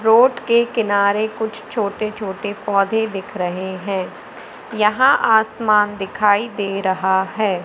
Road के किनारे कुछ छोटे छोटे पौधे दिख रहे हैं यहां आसमान दिखाई दे रहा है।